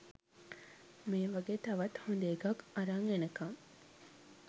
මේ වගේ තවත් හොඳ එකක් අරන් එනකම්